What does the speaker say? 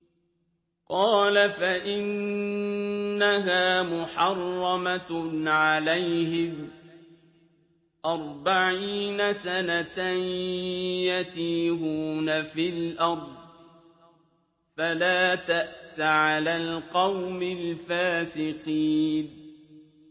قَالَ فَإِنَّهَا مُحَرَّمَةٌ عَلَيْهِمْ ۛ أَرْبَعِينَ سَنَةً ۛ يَتِيهُونَ فِي الْأَرْضِ ۚ فَلَا تَأْسَ عَلَى الْقَوْمِ الْفَاسِقِينَ